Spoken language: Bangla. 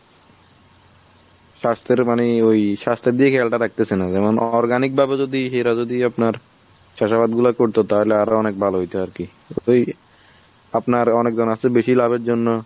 স্বাস্থ্যের মানে ওই স্বাস্থ্যের দিকে খেয়ালটা রাখতেছে না। যেমন organic ভাবে যদি এরা যদি আপনার চাষাবাদ গুলা করতো তাহলে আরো অনেক ভালো হয়তো আরকি। এই আপনার অনেক জন আছে বেশি লাভের জন্য